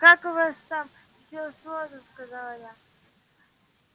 как у вас там всё сложно сказала я